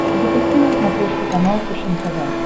запусти на смотрешке канал фэшен тв